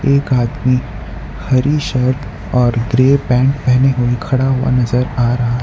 एक आदमी हरी शर्ट और ग्रे पैंट पहने हुए खड़ा हुआ नजर आ रहा--